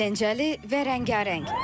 Əyləncəli və rəngarəng.